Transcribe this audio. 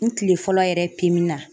N kile fɔlɔ yɛrɛ na.